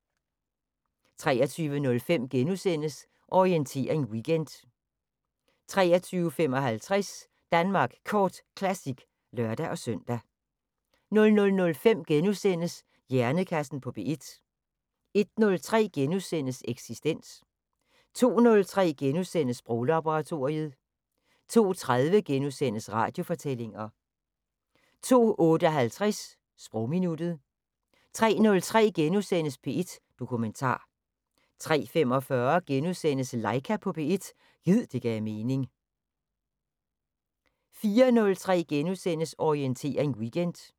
23:05: Orientering Weekend * 23:55: Danmark Kort Classic (lør-søn) 00:05: Hjernekassen på P1 * 01:03: Eksistens * 02:03: Sproglaboratoriet * 02:30: Radiofortællinger * 02:58: Sprogminuttet 03:03: P1 Dokumentar * 03:45: Laika på P1 – gid det gav mening * 04:03: Orientering Weekend *